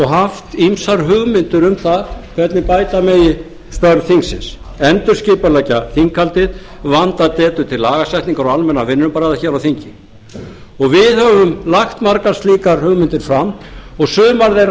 haft ýmsar hugmyndir um það hvernig bæta megi störf þingsins endurskipuleggja þinghaldið vanda betur til lagasetningar og almennra vinnubragða á þingi við höfum lagt margar slíkar hugmyndir fram og sumar þeirra